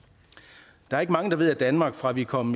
der er ikke mange der ved at danmark fra vi kom